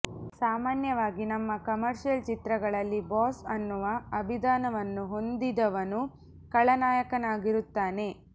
ಸಾಮಾನ್ಯವಾಗಿ ನಮ್ಮ ಕಮರ್ಷಿಯಲ್ ಚಿತ್ರಗಳಲ್ಲಿ ಬಾಸ್ ಅನ್ನುವ ಅಭಿದಾನವನ್ನು ಹೊಂದಿದವನು ಖಳನಾಯಕನಾಗಿರುತ್ತಾನೆ